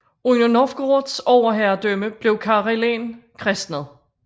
Under Novgorods overherredømme blev Karelen kristnet